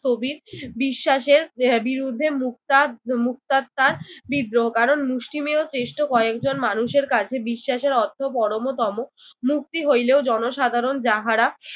কবির বিশ্বাসের আহ বিরুদ্ধে মুক্তাদ মুক্তাত্মার বিদ্রোহ। কারণ মুষ্টিমেয় তেষ্ট কয়েকজন মানুষের কাছে বিশ্বাসের অর্থ পরমতম। মুক্তি হইলেও জনসাধারণ যাহারা